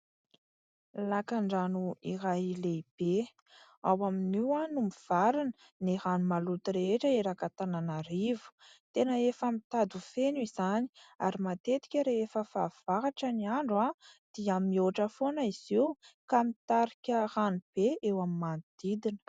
Lakan-drano iray lehibe, ao amin'io no mivarina ny rano maloty rehetra eraky ny Antananarivo, tena efa mitady ho feno izany ary matetika rehefa fahavahatra ny andro dia mihoatra foana izy io ka mitarika ranobe eo amin'ny manodidina.